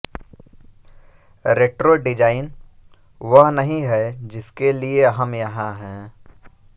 retro design वह नहीं है जिसके लिए हम यहां हैं